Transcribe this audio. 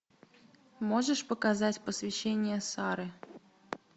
можешь показать посвящение сары